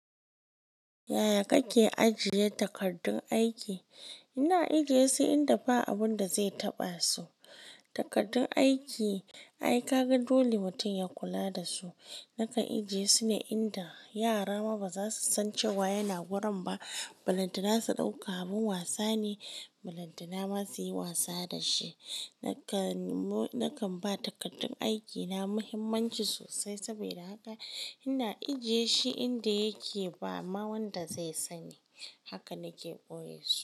Yaya kake ajiye takardun aiki? Ina ajiye su inda ba abun da zai taɓa su. Takardun aiki, ai kaga dole mutum ya kula da su. Naka ajiye su ne inda yara ma ba za su san cewa yana wurin ba. Balantana su ɗauka abin wasa ne, balantana ma su yi wasa da shi. Nakan ba takardun aikina muhimmanci sosai saboda haka ina ajie shi inda yake ba ma wanda zai sani. Haka nake ɓoye su.